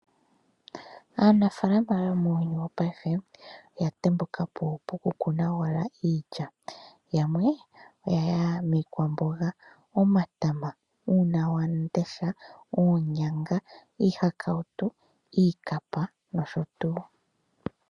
Aanafaalama muyuni wopaife oya tembuka po poku kuna owala iilya. Yamwe oya ya miikwamboga, omatama, unawamundesha, oonyanga, iihakautu, iikapa nosho tuu.